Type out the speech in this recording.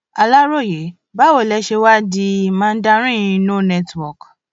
aláròye báwo lẹ ṣe wàá di mandarin no network